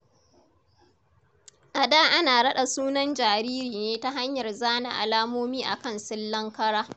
A da ana raɗa sunan jariri ne ta hanyar zana alamomi a kan sillan kara.